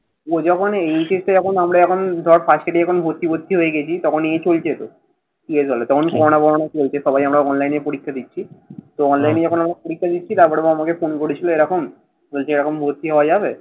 ও যখন যখন HSC আমরা যখন ধর first year এ যখন ভর্তি ফর্তি হয়ে গেছি। তখন এই চলছে তো। তখন করোনা ফরনা চলছে। সবাই আমরা অনলাইনে পরীক্ষা দিচ্ছি। তো অনলাইনে আমরা যখন পরীক্ষা দিচ্ছি তারপরে ও আমাকে ফোন করেছিল এরকম এরকম ভর্তি হওয়া যাবে?